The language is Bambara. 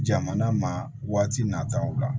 Jamana ma waati nataw la